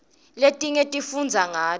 letinye sifundza ngato